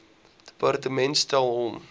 departement stel hom